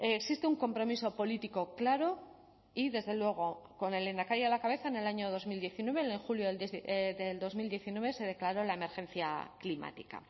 existe un compromiso político claro y desde luego con el lehendakari a la cabeza en el año dos mil diecinueve en julio del dos mil diecinueve se declaró la emergencia climática